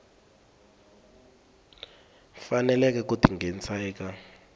faneleke ku ti nghenisa eka